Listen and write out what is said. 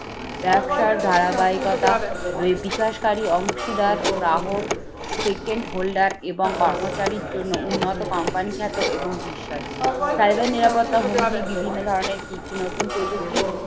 ব্যবসার ধারাবাহিকতা বিকাশকারী অংশীদার গ্রাহক second holder এবং কর্মচারীর জন্য উন্নত company খ্যাত এবং বিশ্বাস cyber নিরাপত্তা হুমকি বিভিন্ন ধরনের কি কি নতুন প্রযুক্তি